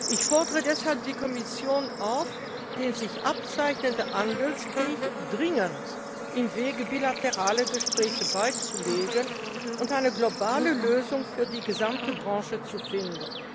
Ich fordere deshalb die Kommission auf, den sich abzeichnenden Handelskrieg dringend im Wege bilateraler Gespräche beizulegen und eine globale Lösung für die gesamte Branche zu finden.